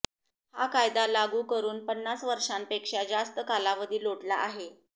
हा कायदा लागू करून पन्नास वर्षांपेक्षा जास्त कालावधी लोटला आहे